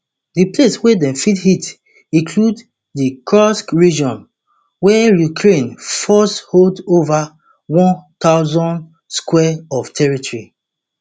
di places wey dem fit hit include di kursk region wia ukraine forces hold ova one thousand sq of territory